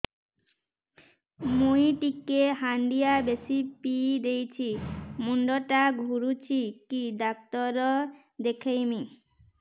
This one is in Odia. ମୁଇ ଟିକେ ହାଣ୍ଡିଆ ବେଶି ପିଇ ଦେଇଛି ମୁଣ୍ଡ ଟା ଘୁରୁଚି କି ଡାକ୍ତର ଦେଖେଇମି